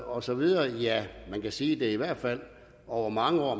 og så videre ja man kan sige det i hvert fald er over mange år